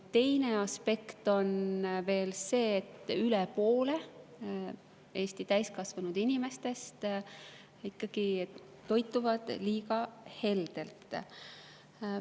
Teine aspekt on see, et üle poole Eesti täiskasvanud inimestest ikkagi toituvad liiga heldelt.